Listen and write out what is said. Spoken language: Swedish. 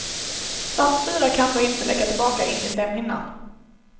Saltsyra kan då inte läcka tillbaka in i slemhinnan.